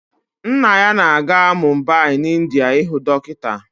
Nna ya ga-aga Mumbai n'India ịhụ dọkịta